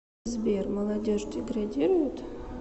сбер молодежь деградирует